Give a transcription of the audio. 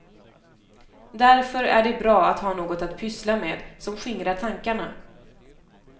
Därför är det bra att ha något att pyssla med som skingrar tankarna.